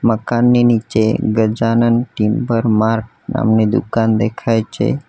મકાનની નીચે Gajanan Timber Mart નામની દુકાન દેખાય છે.